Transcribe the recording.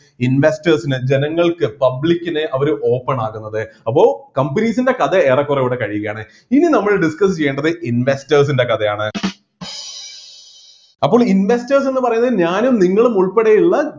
investors ന് ജനങ്ങൾക്ക് public ന് അവർ open ആകുന്നത് അപ്പോ companies ൻ്റെ കഥ ഏറെക്കുറെ ഇവിടെ കഴിയുകയാണ് ഇനി നമ്മൾ discuss ചെയ്യേണ്ടത് investors ൻ്റെ കഥയാണ് അപ്പോൾ investors എന്നു പറയുന്നത് ഞാനും നിങ്ങളും ഉൾപ്പെടെയുള്ള